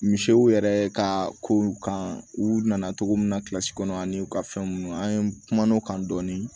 Misiw yɛrɛ ka kow kan u nana cogo min na kilasi kɔnɔ ani u ka fɛn ninnu an ye kumanow kan dɔɔni